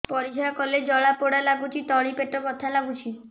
ପରିଶ୍ରା କଲେ ଜଳା ପୋଡା ଲାଗୁଚି ତଳି ପେଟ ବଥା ଲାଗୁଛି